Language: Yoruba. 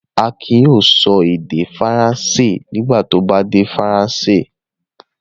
Akin yóò sọ èdè Faransé nígbà tí ó bá dé Faransé.